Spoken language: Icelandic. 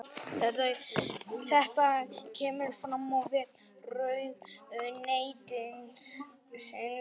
Þetta kemur fram á vef ráðuneytisins